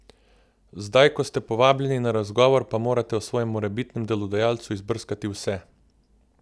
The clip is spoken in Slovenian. Zdaj, ko ste povabljeni na razgovor, pa morate o svojem morebitnem delodajalcu izbrskati vse!